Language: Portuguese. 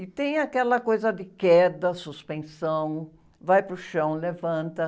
E tem aquela coisa de queda, suspensão, vai para o chão, levanta.